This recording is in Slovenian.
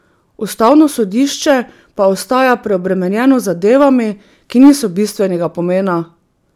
Ustavno sodišče pa ostaja preobremenjeno z zadevami, ki niso bistvenega pomena.